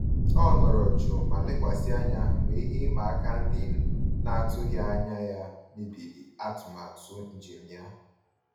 Ọ nọrọ jụụ ma lekwasị anya mgbe ihe ịma aka ndị a n'atụghị anya ya mebiri atụmatụ njem ya.